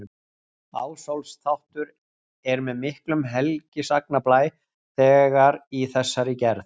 Ásólfs-þáttur er með miklum helgisagnablæ þegar í þessari gerð.